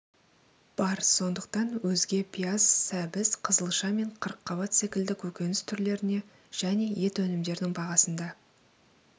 бар сондықтан өзге пияз сәбіз қызылша мен қырыққабат секілді көкөніс түрлеріне және ет өнімдерінің бағасында